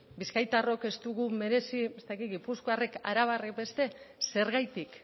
bizkaitarrok ez dugu merezi ez dakit gipuzkoarrek arabarrek beste zergatik